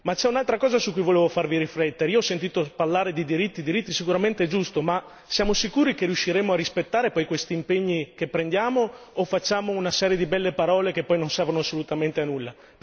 Ma c'è un'altra cosa su cui volevo farvi riflettere io ho sentito parlare di diritti, diritti, sicuramente è giusto, ma siamo sicuri che riusciremo a rispettare poi questi impegni che prendiamo o facciamo una serie di belle parole che poi non servono assolutamente a nulla.